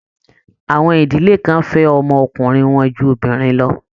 Àwọn ìdílé kan fẹ́ ọmọ ọkùnrin wọn ju obìnrin lọ.